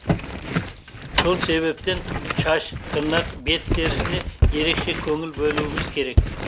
сол себептен шаш тырнақ бет терісіне ерекше көңіл бөлуіміз керек